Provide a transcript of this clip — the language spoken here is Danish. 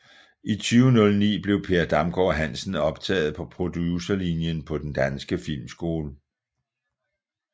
I 2009 blev Per Damgaard Hansen optaget på Producerlinjen på Den Danske Filmskole